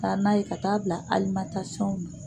Taa n'a ye ka taa'a bila alimatasɔnw na